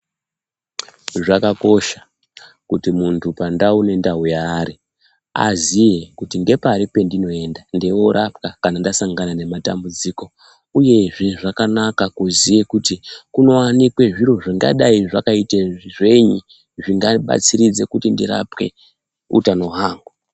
Zvakakosha kuti muntu pandau nendau yaari aziye kuti ngepari pendinoenda ndeiorapwa kana ndasangana nematambudziko uyezve zvakanaka kuziye kuti kunowanikwe zviro zvingadai zvakaite zvenyi zvingabatsiridze kuti ndirapwe utano hwangu .